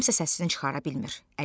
Kimsə səsini çıxara bilmir.